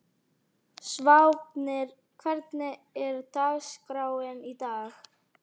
Sváfnir, hvernig er dagskráin í dag?